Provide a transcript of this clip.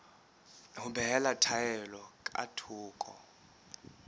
ho behela taelo ka thoko